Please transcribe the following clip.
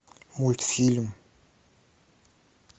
мультфильм